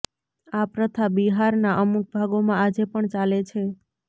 આ પ્રથા બિહારના અમુક ભાગોમાં આજે પણ ચાલે છે